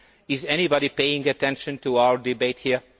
Is anybody paying attention to our debate here?